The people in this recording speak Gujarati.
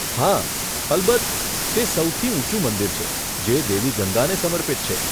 હા, અલબત્ત. તે સૌથી ઊંચું મંદિર છે જે દેવી ગંગાને સમર્પિત છે.